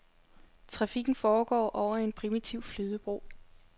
Trafikken foregår over en primitiv flydebro.